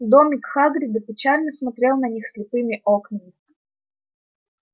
домик хагрида печально смотрел на них слепыми окнами